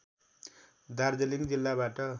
दार्जिलिङ जिल्लाबाट